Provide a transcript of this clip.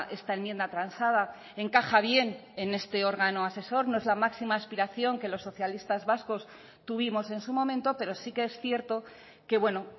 esta enmienda transada encaja bien en este órgano asesor no es la máxima aspiración que los socialistas vascos tuvimos en su momento pero sí que es cierto que bueno